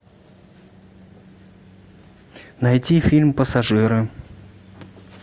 найти фильм пассажиры